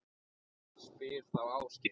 Spyr þá Ásgeir.